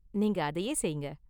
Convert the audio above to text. நீங்க அதையே செய்ங்க.